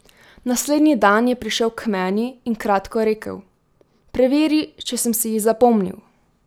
Naslednji dan je prišel k meni in kratko rekel: 'Preveri, če sem si jih zapomnil'.